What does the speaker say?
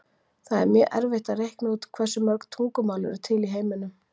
Það er mjög erfitt að reikna út hversu mörg tungumál eru til í heiminum.